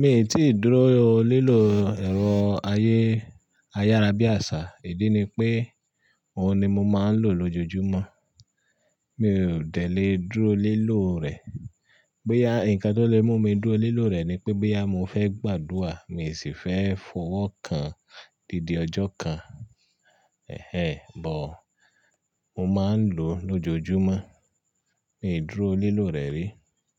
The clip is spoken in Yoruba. Mi ò tíì dúró lilò ẹ̀rọ ayé ayárábiàsà. Ìdí ni pé òhun ni mo máa ń lò lójoojúmọ́. Mi ò dẹ̀lẹ́ dúró lilò rẹ̀. Boya, ǹkan tó lè mú mi dúró lilò rẹ̀ ni pé gboya mo fẹ́ gbàdúà, mii sì fẹ́ fọwọ́ kan dídì ọjọ́ kan. Ẹ̀hẹ́n, but, mo máa ń lò lójoojúmọ́. Mi ò dúró lé lò rẹ̀ rí.